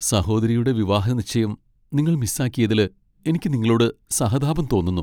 സഹോദരിയുടെ വിവാഹനിശ്ചയം നിങ്ങൾ മിസ്സാക്കിയതില് എനിക്ക് നിങ്ങളോട് സഹതാപം തോന്നുന്നു.